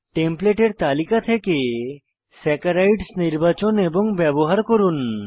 টেমপ্লেটের তালিকা থেকে স্যাকারাইডস নির্বাচন এবং ব্যবহার করুন